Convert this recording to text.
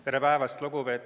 Tere päevast!